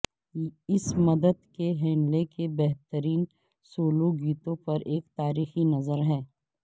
اس مدت کے ہینلے کے بہترین سولو گیتوں پر ایک تاریخی نظر ہے